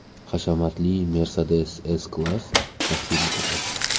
Hashamatli Mercedes S-Class taqdim etildi .